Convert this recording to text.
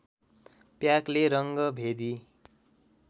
प्याकले रङ्गभेदी